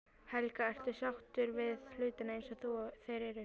Helga: Ertu sáttur við hlutina eins og þeir eru?